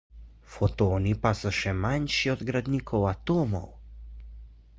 fotoni pa so še manjši od gradnikov atomov